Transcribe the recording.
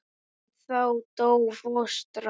En þá dó fóstra.